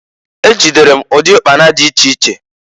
Ejidere m ụdị ụkpana dị iche iche.